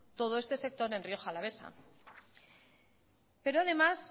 todo este sector en rioja alavesa pero además